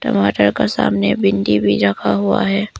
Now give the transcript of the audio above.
टमाटर का सामने भिंडी भी रखा हुआ है।